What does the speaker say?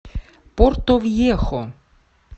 портовьехо